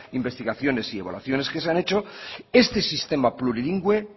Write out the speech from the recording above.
investigaciones y evaluaciones que se han hecho este sistema plurilingüe